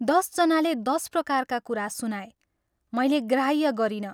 दश जनाले दश प्रकारका कुरा सुनाए मैले ग्राह्य गरिनँ।